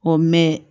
O mɛn